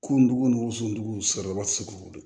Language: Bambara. Kunun dugu ni wusuki sɔrɔla ti se k'o don